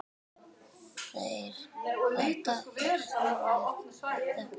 Þetta er snúinn texti.